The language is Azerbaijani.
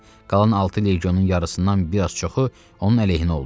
Qalan altı legionun yarısından bir az çoxu onun əleyhinə oldu.